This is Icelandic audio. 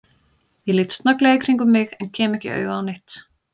Ég lít snögglega í kringum mig en kem ekki auga á neitt.